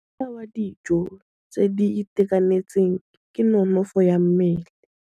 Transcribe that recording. Mosola wa dijô tse di itekanetseng ke nonôfô ya mmele.